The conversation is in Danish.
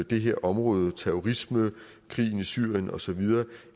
det her område terrorisme krigen i syrien og så videre